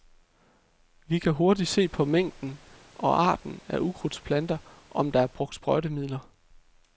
Vi kan hurtigt se på mængden og arten af ukrudtsplanter, om der er brugt sprøjtemidler.